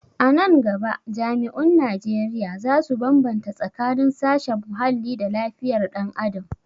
A nan gaba jami'un Najeriya za su bambata tsakanin sashen muhalli da lafiyar dan adam